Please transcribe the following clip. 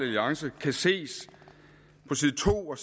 alliance kan ses på side to og